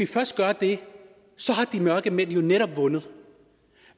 først gør det har de mørkemænd jo netop vundet